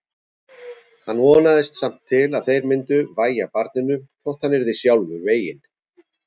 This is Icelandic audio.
Hann vonaðist samt til að þeir myndu vægja barninu þótt hann yrði sjálfur veginn.